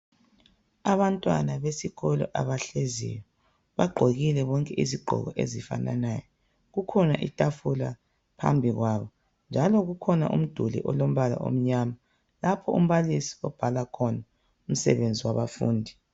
abantwana besikolo abahleziyo bagqokile bonke izigqoko ezifananayo kukhona itafula phambi kwabo njalo kukhona mduli olombala omnyama lapho umbalisi obhala khona umsebenzi wabafundi